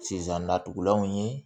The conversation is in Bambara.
Sisan natugulanw ye